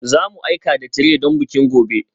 Za mu aika da tire don bikin gobe